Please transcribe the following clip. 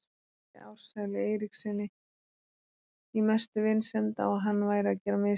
Benti Ársæli Eiríkssyni í mestu vinsemd á að hann væri að gera mistök.